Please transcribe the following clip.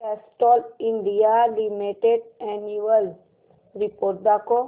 Castrol India limited annual report दाखव